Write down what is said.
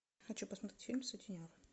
хочу посмотреть фильм сутенер